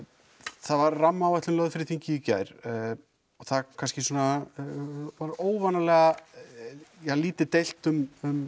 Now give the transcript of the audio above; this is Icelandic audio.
það var rammaáætlun lögð fyrir þingið í gær og það kannski var óvanalega lítið deilt um